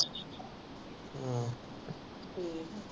ਠੀਕ ਆ